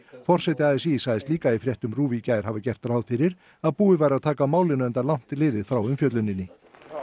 forseti a s í sagðist líka fréttum RÚV í gær hafa gert ráð fyrir að búið væri að taka á málinu enda langt liðið frá umfjölluninni